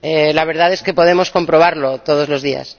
La verdad es que podemos comprobarlo todos los días.